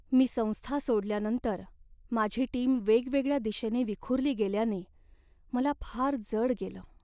मी संस्था सोडल्यानंतर माझी टीम वेगवेगळ्या दिशेने विखुरली गेल्याने मला फार जड गेलं.